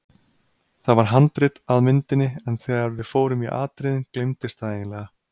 Það var handrit að myndinni en þegar við fórum í atriðin gleymdist það eiginlega.